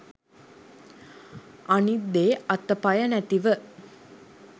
අනිත් දේ අත පය නැතිව